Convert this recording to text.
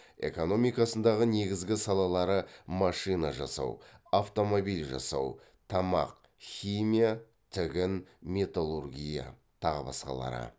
экономикасындағы негізгі салалары машина жасау автомобиль жасау тамақ химия тігін металлургия тағы басқалары